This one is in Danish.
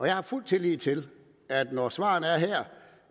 jeg har fuld tillid til at når svaret her er